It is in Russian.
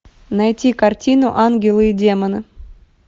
найти картину ангелы и демоны